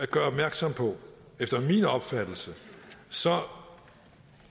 gøre opmærksom på at efter min opfattelse